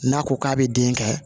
N'a ko k'a bɛ den kɛ